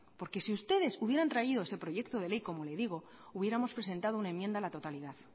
porque si ustedes hubieran traído ese proyecto de ley como le digo hubiéramos presentado una enmienda a la totalidad